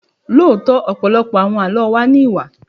Lóòótọ́, ọ̀pọ̀lọpọ̀ àwọn Àlọ́ wa ní Ìwà.